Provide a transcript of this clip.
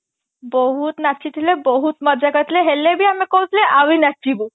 ବହୁତ ନାଚିଥିଲେ ବହୁତ ମଜା କରିଥିଲେ ହେଲେ ବି ଆମେ କହୁଥିଲେ ଆହୁରି ନାଚିବୁ